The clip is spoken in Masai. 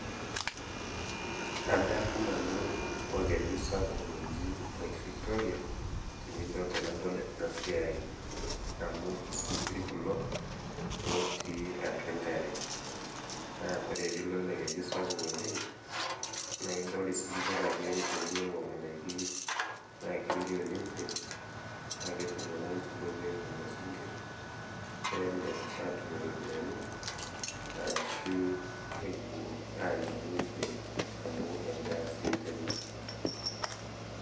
adamu nau orkeju sapuk loji lake victoria, tenadol ena siai, amu isinkir kulo. lotii atua enkare, naa kore pee ilo elekeju sapuk oleng ,naa idol isinkir ake epuonu aaing'oru idaiki naa kelio ninche naaa ketii iltunganak oibung lelo sinkir pee emir aatum iropiyiani, ashu epuo aanya ninche amu edaa sii teina.